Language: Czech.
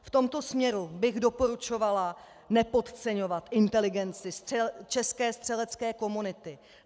V tomto směru bych doporučovala nepodceňovat inteligenci české střelecké komunity.